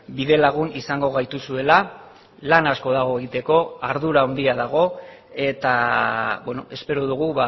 bide lagun izango gaituzuela lan asko dago egiteko ardura handia dago eta espero dugu